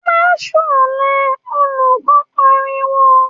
‘Má s̩ò̩lé!’, olù̩kó̩ pariwo